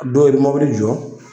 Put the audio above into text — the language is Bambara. Dɔw be mɔbili jɔ